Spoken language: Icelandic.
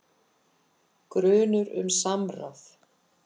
Grunur um samráð